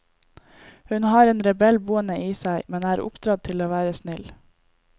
Hun har en rebell boende i seg, men er oppdratt til å være snill.